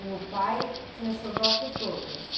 E o pai tinha xodó por todas.